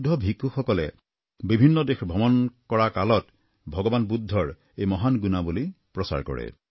বৌদ্ধ ভিক্ষুসকলে বিভিন্ন দেশ ভ্ৰমণ কৰাৰ কালত ভগবান বুদ্ধৰ এই মহান গুণাৱলী প্ৰচাৰ কৰে